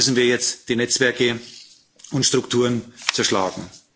Und deswegen müssen wir jetzt die Netzwerke und Strukturen zerschlagen.